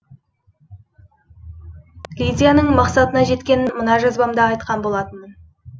лидияның мақсатына жеткенін мына жазбамда айтқан болатынмын